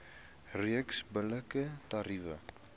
reeks billike tariewe